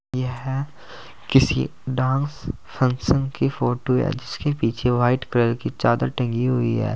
यह किसी dance function की फोटो है जिसके पीछे व्हाइट कलर की चादर टंगी हुई है।